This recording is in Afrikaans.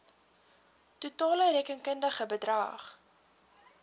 totale rekenkundige bedrag